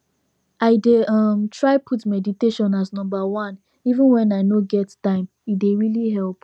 i dey um try put meditation as number oneeven when i no get time e dey really help